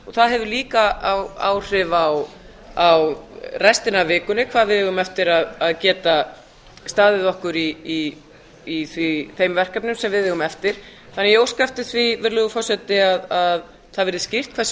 það hefur líka áhrif á rsetina af vikunni hvað við eigum eftir að geta staðið okkur í þeim verkefnum sem við eigum eftir ég óska því eftir því virðulegur forseti að það verði skýrt hversu